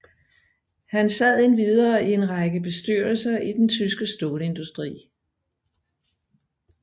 Han sad endvidere i en række bestyrelser i den tyske stålindustri